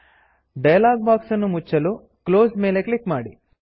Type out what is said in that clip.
dialog box ಅನ್ನು ಮುಚ್ಚಲು close close ಮೇಲೆ ಕ್ಲಿಕ್ ಮಾಡಿ